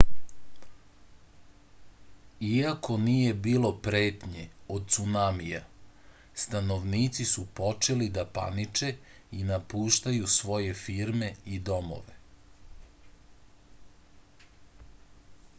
iako nije bilo pretnje od cunamija stanovnici su počeli da paniče i napuštaju svoje firme i domove